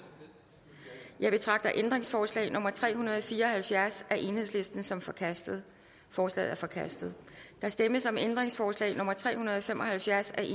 jeg betragter ændringsforslag nummer tre hundrede og fire og halvfjerds af el som forkastet forslaget er forkastet der stemmes om ændringsforslag nummer tre hundrede og fem og halvfjerds af